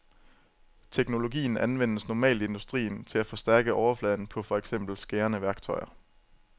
Teknologien anvendes normalt i industrien til at forstærke overfladen på for eksempel skærende værktøjer.